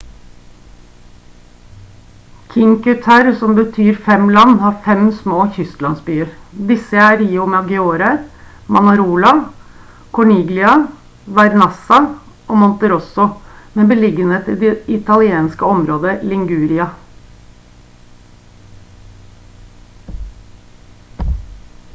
cinque terre som betyr fem land har fem små kystlandsbyer disse er riomaggiore manarola corniglia vernazza og monterosso med beliggenhet i det italienske området i liguria